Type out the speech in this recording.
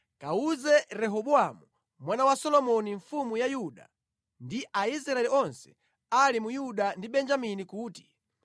“Kawuze Rehobowamu mwana wa Solomoni mfumu ya Yuda ndi Aisraeli onse ali mu Yuda ndi Benjamini kuti,